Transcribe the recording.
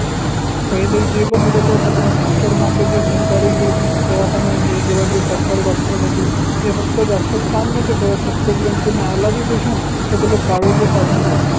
पहिले जे पन होत तो सगळं खास करून आपले जे सरकारी दवाखाने होते जेव्हा जे सरकारी होते ते फक्त जास्त काही काम नव्हते करत फक्त जर कोनी आला बी patient त त्याले private वर पाठवून देत